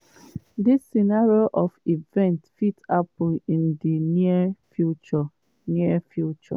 dis scenario of events fit happun in di near future." near future."